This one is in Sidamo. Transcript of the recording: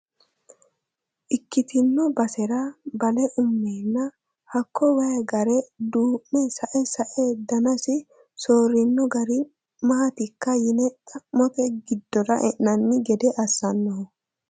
Ikkitino basera bale umenna hakko waayi gare duume sae sae danasi soorino gari maatikka yine xa'mote giddora e'nanni gede assanoho